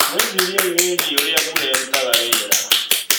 Mwĩciriei wĩgie ũrĩa mbura ĩrutaga wĩra.